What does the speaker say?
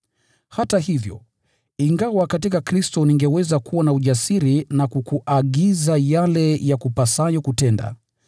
Hata hivyo, ingawa katika Kristo ningeweza kuwa na ujasiri na kukuagiza yale yakupasayo kutenda,